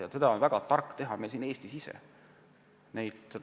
Ja seda on väga tark teha meil siin Eestis kohapeal.